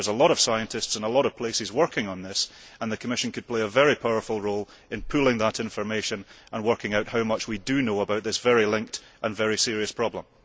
A lot of scientists in a lot of places are working on this, and the Commission could play a very powerful role in pooling that information and working out how much we know about this connected and very serious problem.